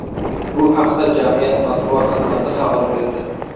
Bu haqda jamiyat matbuot xizmati xabar berdi .